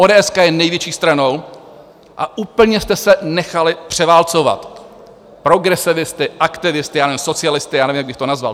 Ódéeska je největší stranou a úplně jste se nechali převálcovat progresivisty, aktivisty, já nevím, socialisty, já nevím, jak bych to nazval.